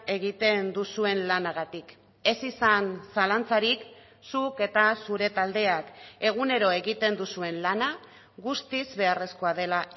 egiten duzuen lanagatik ez izan zalantzarik zuk eta zure taldeak egunero egiten duzuen lana guztiz beharrezkoa dela